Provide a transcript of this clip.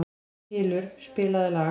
Hylur, spilaðu lag.